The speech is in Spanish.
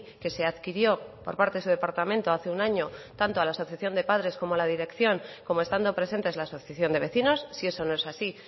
que se adquirió por parte de su departamento hace un año tanto a la asociación de padres como a la dirección como estando presentes la asociación de vecinos si eso no es así